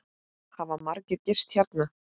Hafa margir gist hérna?